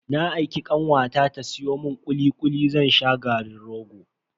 Na aiki kanwata ta siyo mun kuli kuli zan sha garin rogo.